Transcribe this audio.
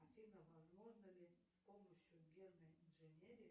афина возможно ли с помощью генной инженерии